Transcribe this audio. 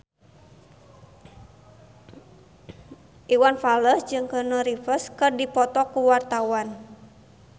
Iwan Fals jeung Keanu Reeves keur dipoto ku wartawan